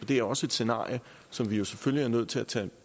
det er også et scenarie som vi selvfølgelig er nødt til at tage